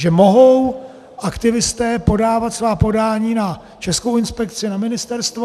Že mohou aktivisté podávat svá podání na Českou inspekci, na ministerstvo.